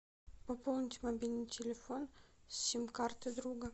пополнить мобильный телефон с сим карты друга